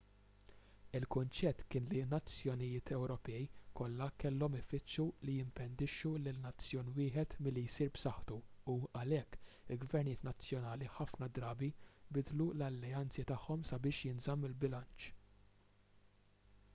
il-kunċett kien li n-nazzjonijiet ewropej kollha kellhom ifittxu li jimpedixxu lil nazzjon wieħed milli jsir b'saħħtu u għalhekk il-gvernijiet nazzjonali ħafna drabi bidlu l-alleanzi tagħhom sabiex jinżamm il-bilanċ